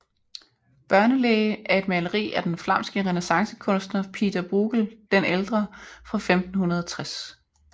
Børnelege er et maleri af den flamske renæssancekunstner Pieter Bruegel den ældre fra 1560